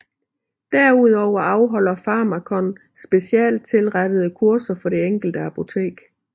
Derudover afholder Pharmakon specialstilrettede kurser for det enkelte apotek